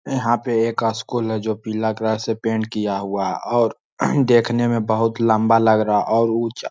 यहाँ पे एक स्कूल हैं जो पिला कलर से पेंट किया हुआ हैं और देखने में बहुत लम्बा लग रहा और उचा--